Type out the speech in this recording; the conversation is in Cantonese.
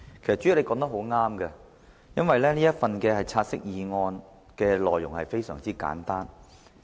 代理主席，你說得對，"察悉議案"的內容非常簡單。